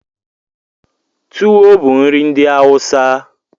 Tuwo bụ nri ndị Awụsa.